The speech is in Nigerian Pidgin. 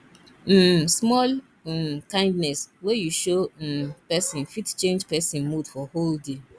um small um kindness wey you show um person fit change person mood for whole day